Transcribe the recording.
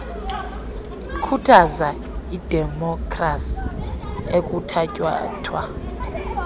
ikhuthaza idemopkhrasi ekuthatyathwa